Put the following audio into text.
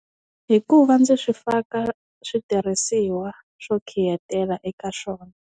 Hikuva ndzi swi faka switirhisiwa swo khiyetela eka swona.